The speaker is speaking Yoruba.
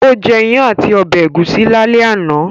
Ó jẹ́ ìyàn àti ọbẹ̀ ẹ̀gúsí lálẹ́ àná